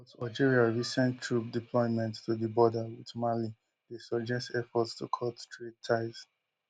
but algeria recent troop deployment to di border with mali dey suggest efforts to cut trade ties